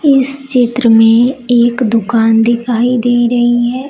इस चित्र में एक दुकान दिखाई दे रही है।